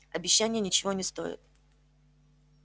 обещания ничего не стоят